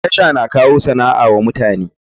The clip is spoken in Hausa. TASHA na kawo sana'a wa mutane.